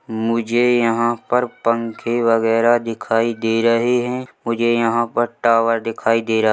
मुझे यहाँ पर पंखे वैगरा दिखाई दे रहा है मुझे यहाँ पर टावर दिखाई दे रहा--